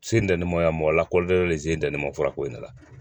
Sendɛlimayaa mɔgɔ lakɔlilen de sen dalen ma fura ko in de la